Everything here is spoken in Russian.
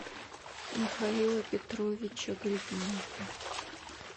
михаила петровича гриднева